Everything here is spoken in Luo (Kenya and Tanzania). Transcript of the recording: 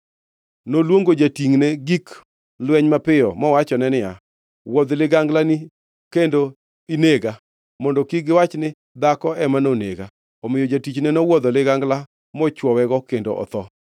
Noluongo jatingʼne gik lweny mapiyo mowachone niya, “Wuodh liganglani kendo inega, mondo kik giwach ni, ‘Dhako ema nonege.’ ” Omiyo jatichne nowuodho ligangla mochwowego kendo otho.